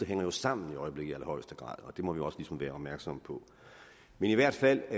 hænger sammen og det må vi også ligesom være opmærksomme på men i hvert fald